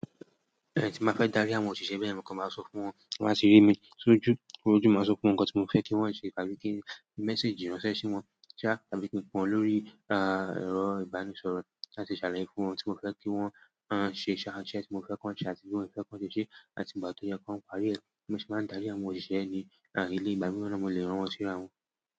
Tí máa fẹ́ darí àwọn òṣìṣẹ́ bẹ́ẹ̀ yen, mo ko máa sọ fún wọn kí wọ́n sì rí mi sójú. Ójú, mo máa sọ fún wọn nǹkan tí mo fẹ́ kí wọ́n se tàbí kí mẹ́ssage ránṣẹ́ sí wọn sáà tàbí kí n pe won lórí ẹ̀rọ ìbánisọ̀rọ̀ láti ṣàlàyé fún wọn oun tí mo fẹ́ kí wọ́n ṣe ṣá, tí ẹ ti mo fẹ́ kí wọ́n ṣe àti tí mo fẹ́ kí wọ́n ṣe ṣé àti ìgbà tó yẹ ki wọn parí rẹ̀. Bi mo se máa ń darí àwọn òṣìṣẹ́ ní eleyii. Ìgbà míràn, mo lè rán wọn sí ara wọn.